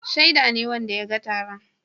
Shaida ne wanda ya ga taron.